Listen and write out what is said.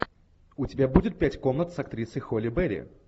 у тебя будет пять комнат с актрисой холли берри